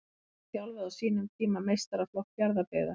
Magni þjálfaði á sínum tíma meistaraflokk Fjarðabyggðar.